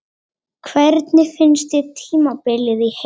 Hvernig fannst þér tímabilið í heild?